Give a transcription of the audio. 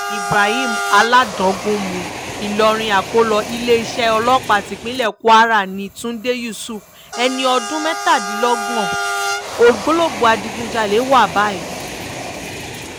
ibrahim aládangunmu ìlọrin akọ́lọ iléeṣẹ́ ọlọ́pàá tipinlẹ̀ kwara ní túnde yusuf ẹni ọdún mẹ́tàdínlọ́gbọ̀n ògbólógbòó adigunjalè wa báyìí